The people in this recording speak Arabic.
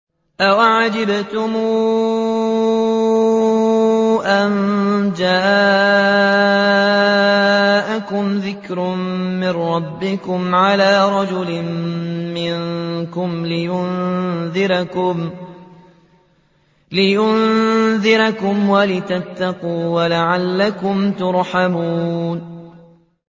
أَوَعَجِبْتُمْ أَن جَاءَكُمْ ذِكْرٌ مِّن رَّبِّكُمْ عَلَىٰ رَجُلٍ مِّنكُمْ لِيُنذِرَكُمْ وَلِتَتَّقُوا وَلَعَلَّكُمْ تُرْحَمُونَ